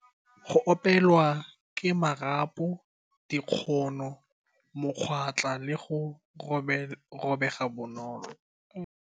Go opelwa ke marapo, dikgono, mokwatla le go robega bonolo.